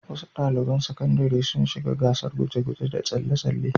Wasu ɗaliban sakandare sun shiga gasar guje-guje da tsalle-tsalle.